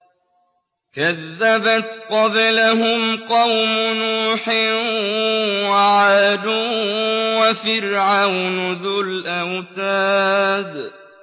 كَذَّبَتْ قَبْلَهُمْ قَوْمُ نُوحٍ وَعَادٌ وَفِرْعَوْنُ ذُو الْأَوْتَادِ